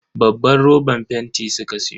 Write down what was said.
Babban roban fenti suka siyo.